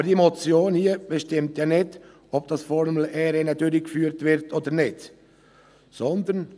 Aber diese Motion hier bestimmt ja nicht, ob das Formel-E-Rennen durchgeführt wird oder nicht, sondern: